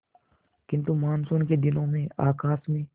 किंतु मानसून के दिनों में आकाश में